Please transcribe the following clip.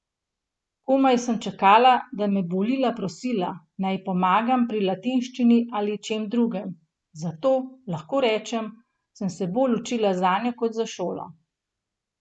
Komaj sem čakala, da me bo Lila prosila, naj ji pomagam pri latinščini ali čem drugem, zato, lahko rečem, sem se bolj učila zanjo kot za šolo.